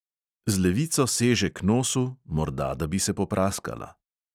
Z levico seže k nosu, morda da bi se popraskala.